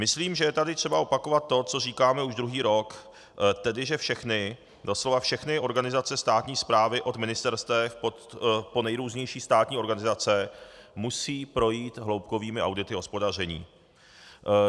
Myslím, že je tady třeba opakovat to, co říkáme už druhý rok, tedy že všechny, doslova všechny organizace státní správy od ministerstev po nejrůznější státní organizace musí projít hloubkovými audity hospodaření.